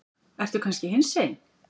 Ertu kannski hinsegin?